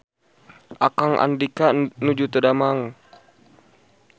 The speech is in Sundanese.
Akang Andika nuju teu damang